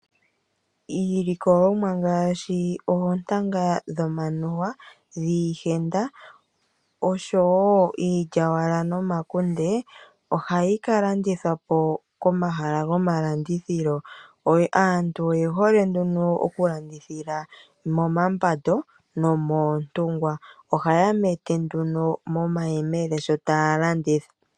Iilikolomwa ngaasshi oontanga dhomanuwa, dhiihenda oshomowo iilya wala nomakunde, oha yi ka la ndithwapo kamahala gomalandithilo. Aantu oye hole okulandithila momambando, nomoontungwa, aantu oha ya mete nduno mo mayemele shop taya landitha.